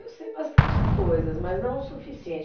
Eu sei bastante coisas, mas não o suficiente.